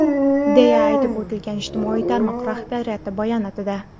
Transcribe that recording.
deya aytib o‘tilgan ijtimoiy tarmoq rahbariyati bayonotida.